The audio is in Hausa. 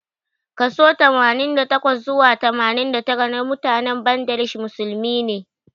Kaso Tamanin da takwa zuwa tamanin da tara namutanen Bangladesh musulmi ne.